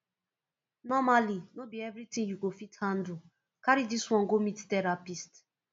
nomally no be everytin you go fit handle carry dis one go meet therapist